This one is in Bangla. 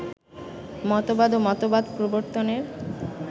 মতবাদ ও মতবাদ প্রবর্তনের